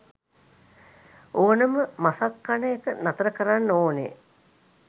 ඕනෙම මසක් කන එක නතර කරන්න ඕනෙ